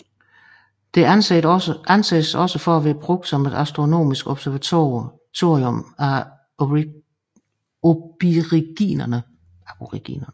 Det anses også for at være blevet brugt som et astronomisk observatorium af aboriginerne